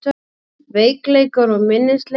Veikleikar og minnisleysi